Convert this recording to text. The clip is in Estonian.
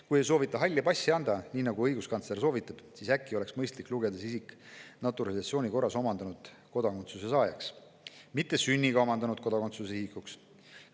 Kui ei soovita halli passi anda, nii nagu õiguskantsler soovitab, siis äkki oleks mõistlik lugeda see isik naturalisatsiooni korras kodakondsuse omandanuks, mitte sünniga kodakondsuse omandanuks.